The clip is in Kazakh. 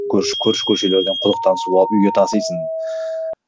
көрші көрші көшелерден құдықтан су алып үйге тасисың